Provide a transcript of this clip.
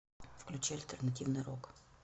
включи альтернативный рок